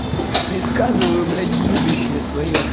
предсказываю блять будущее своё